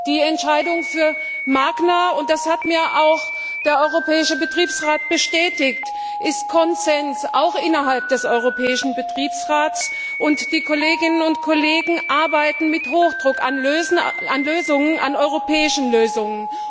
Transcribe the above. Die Entscheidung für Magna und das hat mir auch der europäische Betriebsrat bestätigt ist Konsens auch innerhalb des europäischen Betriebsrats, und die Kolleginnen und Kollegen arbeiten mit Hochdruck an europäischen Lösungen.